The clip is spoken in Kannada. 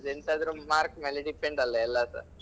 ಎಂತಾದ್ರು mark ಮೇಲೆ depend ಅಲ್ಲ ಎಲ್ಲಸ.